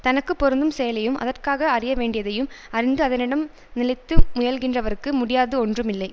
தனக்கு பொருந்தும் செயலையும் அதற்காக அறிய வேண்டியதையும் அறிந்து அதனிடம் நிலைத்து முயல்கின்றவர்க்கு முடியாது ஒன்றும் இல்லை